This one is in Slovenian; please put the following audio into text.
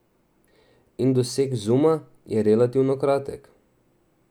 In doseg zuma je relativno kratek.